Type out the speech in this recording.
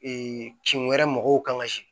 kin wɛrɛ mɔgɔw kan ka se